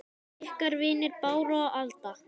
Ykkar vinir Bára og Alda.